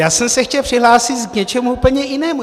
Já jsem se chtěl přihlásit k něčemu úplně jinému.